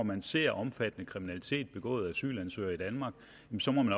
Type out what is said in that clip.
man ser omfattende kriminalitet begået af asylansøgere i danmark